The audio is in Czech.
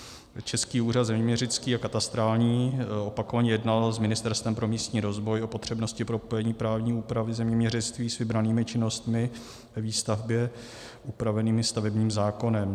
Český úřad zeměměřický a katastrální opakovaně jednal s Ministerstvem pro místní rozvoj o potřebnosti propojení právní úpravy zeměměřictví s vybranými činnostmi ve výstavbě upravenými stavebním zákonem.